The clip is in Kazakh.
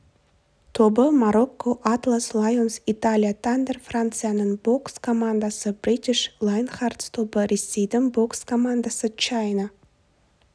тобы марокко атлас лайонс италия тандер францияның бокс командасы бритиш лайнхартс тобы ресейдің бокс командасы чайна